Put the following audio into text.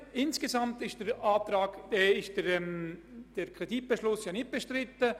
Insgesamt ist der Kreditbeschluss ja nicht bestritten.